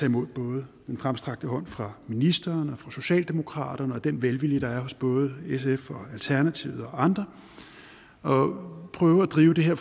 imod både den fremstrakte hånd fra ministeren og fra socialdemokraterne og den velvilje der er hos både sf og alternativet og andre og prøve at drive det her